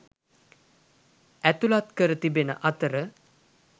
ඇතුළත් කර තිබෙන අතර